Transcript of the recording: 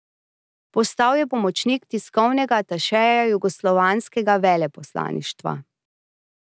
Postal je pomočnik tiskovnega atašeja jugoslovanskega veleposlaništva.